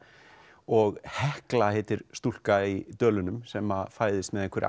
og Hekla heitir stúlka í Dölunum sem fæðist með